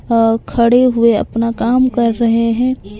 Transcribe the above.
अह खड़े हुए अपना काम कर रहे हैं ।